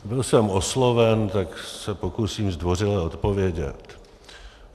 Byl jsem osloven, tak se pokusím zdvořile odpovědět.